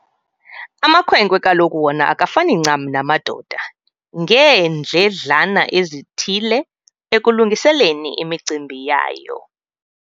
Amakhwenkwe kaloku wona akafani ncam namadoda ngeendledlana ezithile ekulungiseni imicimbi yayo.